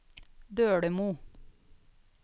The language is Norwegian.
Dølemo